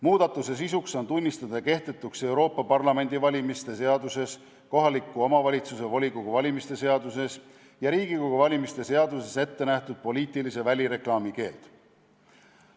Muudatuse sisuks on tunnistada kehtetuks Euroopa Parlamendi valimise seaduses, kohaliku omavalitsuse volikogu valimise seaduses ja Riigikogu valimise seaduses ette nähtud poliitilise välireklaami keeld.